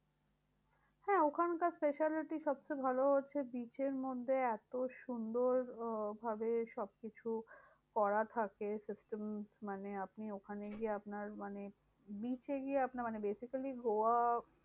হ্যাঁ ওখানকার speciality সবচেয়ে ভালো হচ্ছে, beach এর মধ্যে এত সুন্দর আহ ভাবে সবকিছু করা থাকে system. মানে আপনি ওখানে গিয়ে আপনার মানে beach এ গিয়ে আপনার মানে basically গোয়া